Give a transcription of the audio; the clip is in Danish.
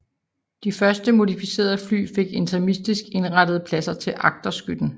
De første modificerede fly fik intermistisk indrettede pladser til agterskytten